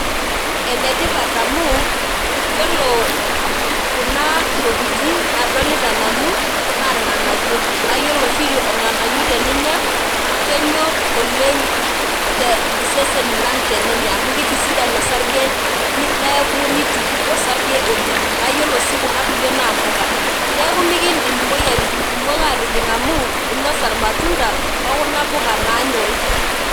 Enetipat amu yiolo kuna tokitin nadolita nanu naa irnganayio, naa yiolo oshi irnganayio teninya , kenyor oleng iseseni lang tenenya amu ki kitisian osarge neeku nituku osarge oleng naa yiolo sii kuna kulie naa impuka neeku mikindim imoyiaritin atijing amu inosa irmatunda okuna puka nanyori